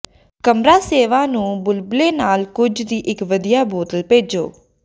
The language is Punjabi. ਕਮਰਾ ਸੇਵਾ ਨੂੰ ਬੁਲਬਲੇ ਨਾਲ ਕੁਝ ਦੀ ਇੱਕ ਵਧੀਆ ਬੋਤਲ ਭੇਜੋ